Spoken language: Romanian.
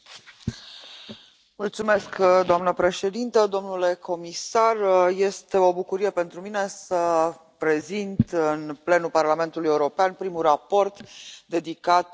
Doamna președintă, domnule comisar, este o bucurie pentru mine să prezint în plenul Parlamentului European primul raport dedicat pescuitului recreativ.